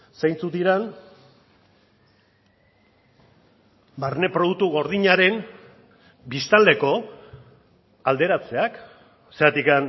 zeintzuk diren barne produktu gordinaren biztanleko alderatzeak zergatik